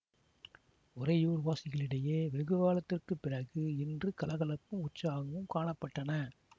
உறையூர் வாசிகளிடையே வெகுகாலத்திற்குப் பிறகு இன்று கலகலப்பும் உற்சாகமும் காண பட்டன